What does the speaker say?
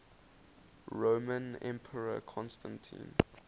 roman emperor constantine